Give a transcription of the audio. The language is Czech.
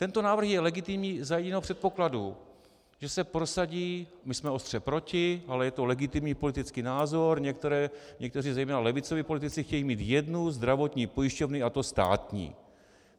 Tento návrh je legitimní za jediného předpokladu, že se prosadí - my jsme ostře proti, ale je to legitimní politický názor, někteří zejména levicoví politici chtějí mít jednu zdravotní pojišťovnu, a to státní.